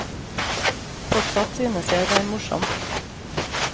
Fortsatt synes jeg det er morsomt.